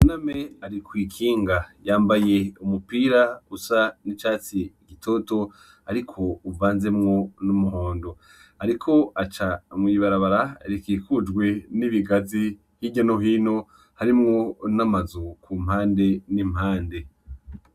Buname ari kw’ikinga yambaye umupira usa n'icatsi gitito ariko uvanzemwo n'umuhondo ariko aca mw’ibarabara rikikujwe n'ibigazi hirya no hino harimwo n'amazu kumpande n'impande.